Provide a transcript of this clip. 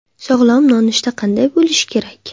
Sog‘lom nonushta qanday bo‘lishi kerak?